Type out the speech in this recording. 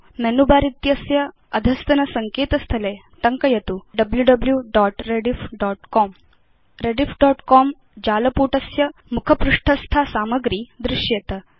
menu bar इत्यस्य अधस्तन सङ्केत स्थले टङ्कयतु wwwrediffcom rediffकॉम जालपुटस्य मुखपृष्ठस्था सामग्री दृश्येत